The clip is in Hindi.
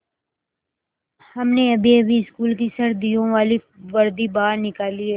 हमने अभीअभी स्कूल की सर्दियों वाली वर्दी बाहर निकाली है